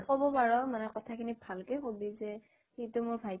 ক'ব পাৰ মানে কথা খিনি ভালকে ক'বি যে মানে সিটো মোৰ ভাইটি